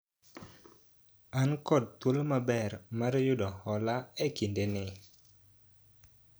an kod thuolo maber mar yudo hola e kinde ni